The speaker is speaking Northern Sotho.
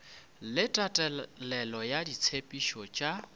le tatelelo ya ditshepetšo tša